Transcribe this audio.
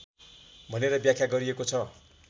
भनेर व्याख्या गरिएको छ